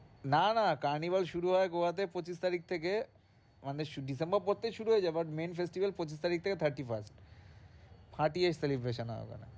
না না carnival শুরু হয় গোয়াতে পঁচিশ তারিখ থেকে মানে ডিসেম্বরের পর থেকেই শুরু হয়ে যায় but main festival পঁচিশ তারিখ থেকে thirty-first ফাটিয়ে celebration হয় ওখানে।